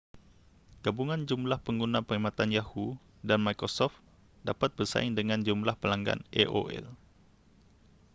gabungan jumlah pengguna perkhidmatan yahoo dan microsoft dapat bersaing dengan jumlah pelanggan aol